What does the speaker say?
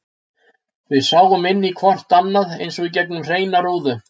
Við sáum inn í hvort annað eins og í gegnum hreina rúðu.